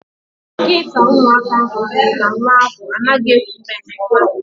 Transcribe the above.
Dọkịta ụmụaka ahụ kwuru na nwa ahụ anaghị eku ume nke ọma.